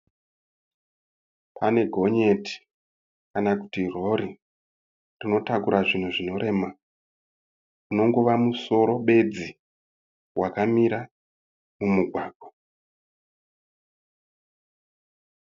Pane gonyeti kana kuti rori rinotakura zvinhu zvinorema. Unongova musoro bedzi wakamira mumugwagwa.